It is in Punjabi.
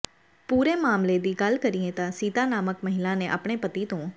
ਪੂਰੇ ਮਾਮਲੇ ਦੀ ਗੱਲ ਕਰੀਏ ਤਾਂ ਸੀਤਾ ਨਾਮਕ ਮਹਿਲਾ ਨੇ ਆਪਣੇ ਪਤੀ ਤੋਂ